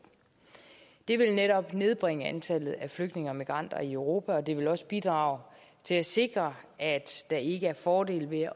det vil netop nedbringe antallet af flygtninge og migranter i europa og det vil også bidrage til at sikre at der ikke er fordele ved